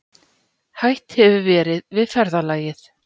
Hætt hefur verið við ferðalagið